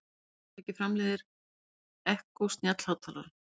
Hvaða fyrirtæki framleiðir Echo snjallhátalarann?